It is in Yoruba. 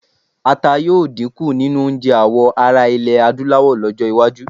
Ata yóò dínkù nínú oúnjẹ àwọ ará iẹ̀ Adúláwọ̀ lọ́jọ́-iwájú.